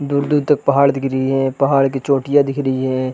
दूर-दूर तक पहाड़ दिख रही है पहाड़ की चोंटिया दिख रही है ।